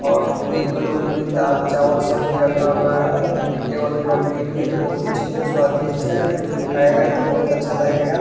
और तीन कटोरी में दाल चावल सब्जी रखा हुआ है जो टेबल पे रखी हुई है बहोत अच्छी है स्वादिष्ठ है जो खाएगा तो बहोत अच्छा लगेगा।